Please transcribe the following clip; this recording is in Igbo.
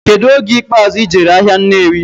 Kedu oge ikpazụ ijere ahia Nnewi?